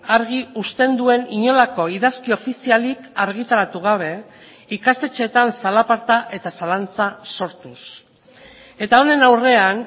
argi uzten duen inolako idazki ofizialik argitaratu gabe ikastetxeetan zalaparta eta zalantza sortuz eta honen aurrean